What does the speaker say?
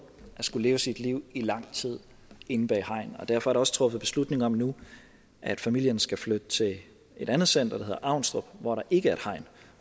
at skulle leve sit liv i lang tid inde bag et hegn derfor er der også truffet beslutning om nu at familierne skal flytte til et andet center der hedder avnstrup hvor der ikke er et hegn